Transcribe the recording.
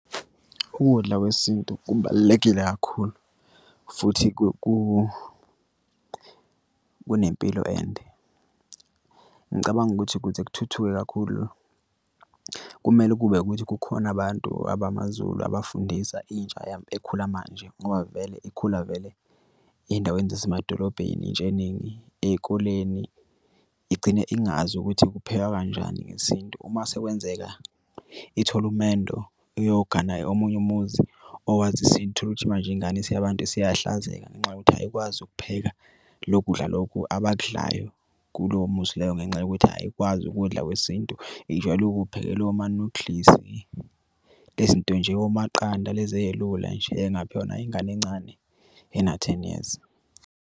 Ukudla kwesintu kubalulekile kakhulu futhi kunempilo ende. Ngicabanga ukuthi ukuze kuthuthuke kakhulu kumele kube ukuthi kukhona abantu abamaZulu abafundisa intsha ekhula manje ngoba vele ikhula vele ey'ndaweni zasemadolobheni intsha eningi ey'koleni igcine ingazi ukuthi kuphekwa kanjani ngesintu. Uma sekwenzeka ithole umendo iyogana omunye umuzi owazisa manje ingane siyabantu siyahlazeka ngenxa yokuthi ayikwazi ukupheka lokudla lokhu abakudlayo kulowo muzi loyo ngenxa yokuthi ayikwazi ukudla kwesintu. Ijwayele ukuphekelwa omanudlizi lezi nto omaqanda nalezi ey'lula nje eyingaphekwa nayingane encane ena-ten years.